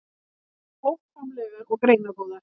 Voru þær hófsamlegar og greinagóðar.